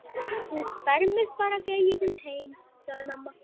Þú fermist bara þegar ég kem heim, sagði mamma.